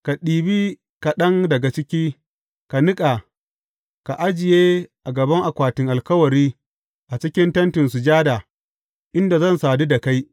Ka ɗiba kaɗan daga ciki, ka niƙa, ka ajiye a gaban akwatin alkawari a cikin Tentin Sujada, inda zan sadu da kai.